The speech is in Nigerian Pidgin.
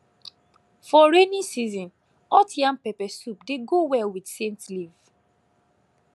for rainy season hot yam pepper soup dey go well with scent leaf